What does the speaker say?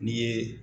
N'i ye